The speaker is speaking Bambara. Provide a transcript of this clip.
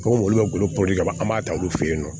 Komi olu bɛ bolo politi ka an b'a ta olu fɛ yen nɔ